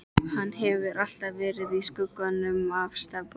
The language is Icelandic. Hann hefur alltaf verið í skugganum af Stebba.